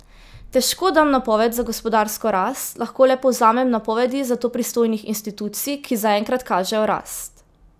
Težko dam napoved za gospodarsko rast, lahko le povzamem napovedi za to pristojnih institucij, ki zaenkrat kažejo rast.